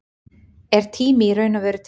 Er tími í raun og veru til?